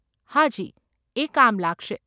હાજી, એ કામ લાગશે.